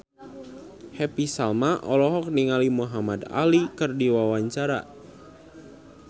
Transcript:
Happy Salma olohok ningali Muhamad Ali keur diwawancara